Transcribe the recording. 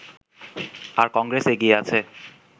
আর কংগ্রেস এগিয়ে আছে